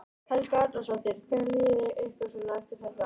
Helga Arnardóttir: Hvernig líður ykkur svona eftir þetta?